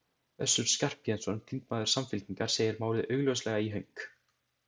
Össur Skarphéðinsson, þingmaður Samfylkingar, segir málið augljóslega í hönk.